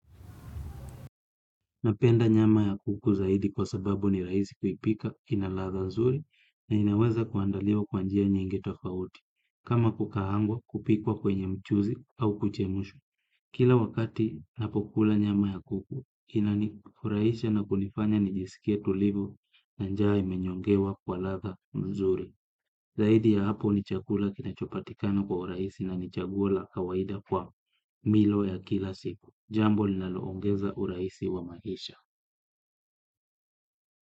Napenda nyama ya kuku zaidi kwa sababu ni raisi kuipika kina latha mzuri na inaweza kuandaliwa kwa njia nyingi tofauti, kama kukahangwa kupikwa kwenye mchuzi au kuchemushwa. Kila wakati napokula nyama ya kuku, inanifurahisha na kunifanya nijisikie tulivu na njaa imenyongewa kwa ladha mzuri. Zaidi ya hapo ni chakula kinachopatikana kwa urahisi na ni chaguo la kawaida kwa mlo ya kila siku. Jambo linaloongeza urahisi wa maisha.